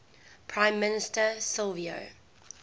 prime minister silvio